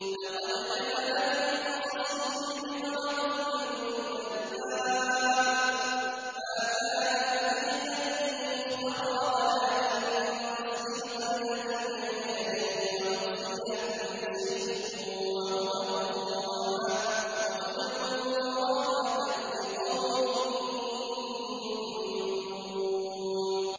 لَقَدْ كَانَ فِي قَصَصِهِمْ عِبْرَةٌ لِّأُولِي الْأَلْبَابِ ۗ مَا كَانَ حَدِيثًا يُفْتَرَىٰ وَلَٰكِن تَصْدِيقَ الَّذِي بَيْنَ يَدَيْهِ وَتَفْصِيلَ كُلِّ شَيْءٍ وَهُدًى وَرَحْمَةً لِّقَوْمٍ يُؤْمِنُونَ